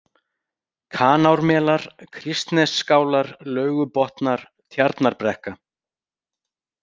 Kanármelar, Kristnesskálar, Laugubotnar, Tjarnarbrekka